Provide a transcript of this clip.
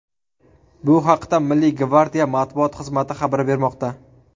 Bu haqda Milliy gvardiya matbuot xizmati xabar bermoqda.